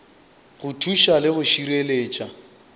go thuša le go šireletša